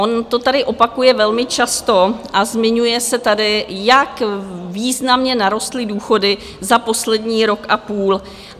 On to tady opakuje velmi často a zmiňuje se tady, jak významně narostly důchody za poslední rok a půl.